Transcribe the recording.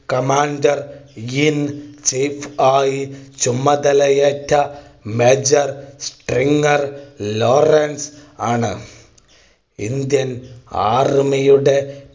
commander in chief ആയി ചുമതലയേറ്റ major Stringer Lawrence ആണ്. Indian Army യുടെ